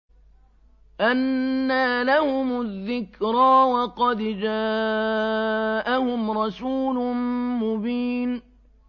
أَنَّىٰ لَهُمُ الذِّكْرَىٰ وَقَدْ جَاءَهُمْ رَسُولٌ مُّبِينٌ